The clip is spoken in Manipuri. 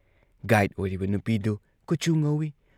ꯒꯥꯏꯗ ꯑꯣꯏꯔꯤꯕ ꯅꯨꯄꯤꯗꯨ ꯀꯨꯆꯨ ꯉꯧꯏ ꯫